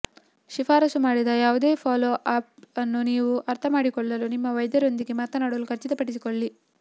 ಶಿಫಾರಸು ಮಾಡಿದ ಯಾವುದೇ ಫಾಲೋ ಅಪ್ ಅನ್ನು ನೀವು ಅರ್ಥ ಮಾಡಿಕೊಳ್ಳಲು ನಿಮ್ಮ ವೈದ್ಯರೊಂದಿಗೆ ಮಾತನಾಡಲು ಖಚಿತಪಡಿಸಿಕೊಳ್ಳಿ